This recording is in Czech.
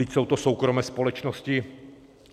Vždyť jsou to soukromé společnosti.